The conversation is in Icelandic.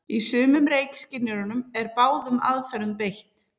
Í sumum reykskynjurum er báðum aðferðum beitt.